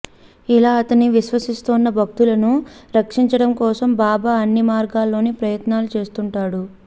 ఇలా తనని విశ్వసిస్తోన్న భక్తులను రక్షించడం కోసం బాబా అన్ని మార్గాలలోనూ ప్రయత్నాలు చేస్తుంటాడు